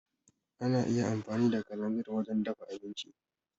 Ana iya amfani da kalanzir wajen dafa abinci.